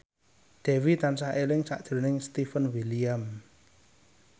Dewi tansah eling sakjroning Stefan William